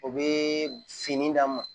O bɛ fini d'a ma